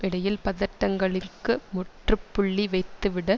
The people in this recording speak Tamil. இடையில் பதட்டங்களிற்கு முற்றுப்புள்ளி வைத்துவிட